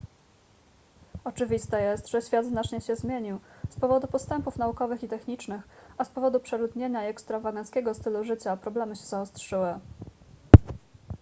oczywiste jest że świat znacznie się zmienił z powodu postępów naukowych i technicznych a z powodu przeludnienia i ekstrawaganckiego stylu życia problemy się zaostrzyły